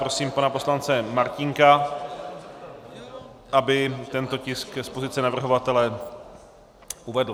Prosím pana poslance Martínka, aby tento tisk z pozice navrhovatele uvedl.